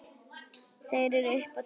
Þær eru upp á tíu.